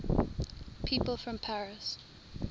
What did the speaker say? people from paris